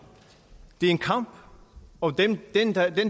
det er en kamp og den